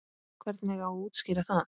Hvernig á að útskýra það?